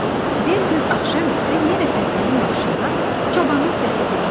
Bir gün axşam üstü yenə təpənin başında çobanın səsi gəldi.